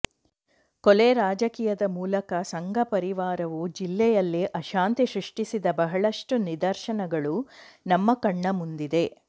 ಕೊಲೆ ರಾಜಕೀಯದ ಮೂಲಕ ಸಂಘಪರಿವಾರವು ಜಿಲ್ಲೆಯಲ್ಲಿ ಅಶಾಂತಿ ಸೃಷ್ಟಿಸಿದ ಬಹಳಷ್ಟು ನಿದರ್ಶನಗಳು ನಮ್ಮ ಕಣ್ಣ ಮುಂದಿದೆ